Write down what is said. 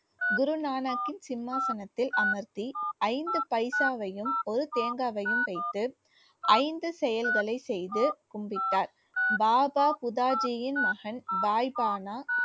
குருநானக்கின் சிம்மாசனத்தில் அமர்த்தி ஐந்து பைசாவையும் ஒரு தேங்காயையும் வைத்து ஐந்து செயல்களை செய்து கும்பிட்டார் பாபா புதாஜியின் மகன் பாய்பானா